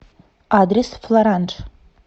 адрес флоранж